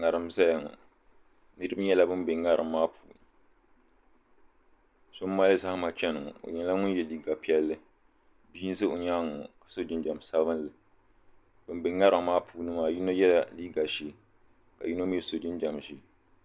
ŋariŋ n ʒɛya ŋɔ niriba nyɛla ban be ŋariŋ maa puuni so mali zahima chana o nyɛla ŋun yɛ liiga piɛlli bia n ʒɛ o nyaanga ŋɔ ka so jinjam sabinli bin be ŋariŋ maa puuni maa yino yɛla liiiga ʒɛɛ ka yino mi so jinjam ʒɛɛ.